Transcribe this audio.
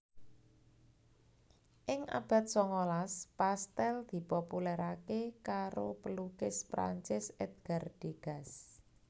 Ing abad songolas pastèl dipopulerké karo pelukis Perancis Edgar Degas